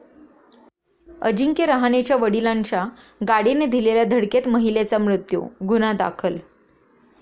अजिंक्य रहाणेच्या वडिलांच्या गाडीने दिलेल्या धडकेत महिलेचा मृत्यू, गुन्हा दाखल